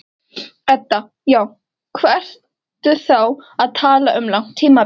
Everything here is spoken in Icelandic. Edda: Já, hvað ertu þá að tala um langt tímabil?